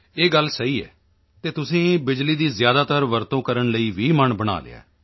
ਇਹ ਗੱਲ ਸਹੀ ਹੈ ਤੁਸੀਂ ਬਿਜਲੀ ਦੀ ਜ਼ਿਆਦਾਤਰ ਵਰਤੋਂ ਕਰਨ ਲਈ ਵੀ ਮਨ ਬਣਾ ਲਿਆ ਹੈ